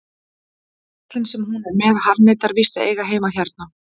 Kallinn sem hún er með harðneitar víst að eiga heima hérna.